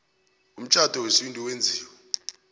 umtjhado wesintu owenziwe